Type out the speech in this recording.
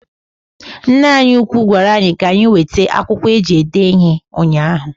Nneanyị ugwu gwara anyị ka anyị wete akwụkwọ eji ede ihe ụnyahụ.